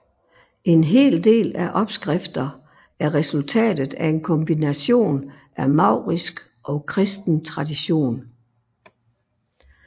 En hel del af opskrifter er resultatet af en kombination af maurisk og kristen tradition